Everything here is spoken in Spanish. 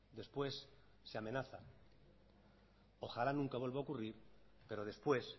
después se amenazan ojalá nunca vuelva a ocurrir pero después